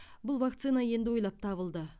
бұл вакцина енді ойлап табылды